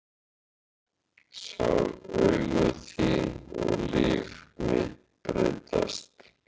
Ég sá augu þín og líf mitt breyttist.